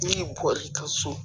N'i bɔr'i ka so